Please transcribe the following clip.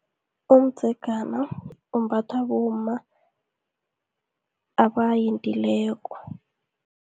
Umdzegana, umbathwa bomma abayendileko.